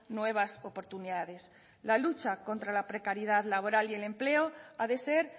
nuevas oportunidades la lucha contra la precariedad laboral y el empleo ha de ser